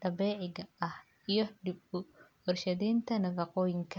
dabiiciga ah iyo dib-u-warshadaynta nafaqooyinka.